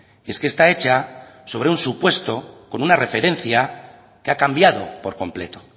y es que está hecha sobre un supuesto con una referencia que ha cambiado por completo